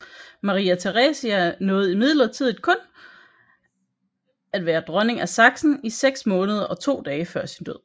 Maria Theresia nåede imidlertid kun at være dronning af Sachsen i seks måneder og to dage før sin død